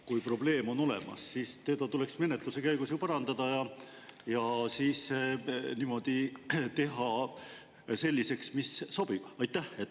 Kui probleem on olemas, siis seda tuleks menetluse käigus ju parandada ja teha niimoodi selliseks, mis sobib.